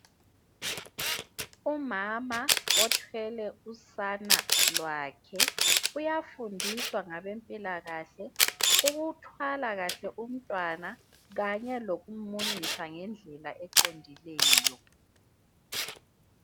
Umama othwele usana lwakhe uyafundiswa ngabezempilakahle ukuthwala kahle umntwana kanye lokumunyisa ngendlela eqondileyo.